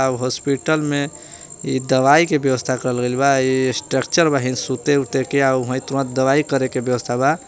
Hospital में ई दवाई के व्यवस्था करल गइल बा ई स्ट्रक्चर बहिं सुते उते के आर ओहें तुरंत दवाई करेके व्यवस्था बा।